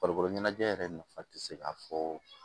Farikolo ɲɛnajɛ yɛrɛ nafa tɛ se ka fɔ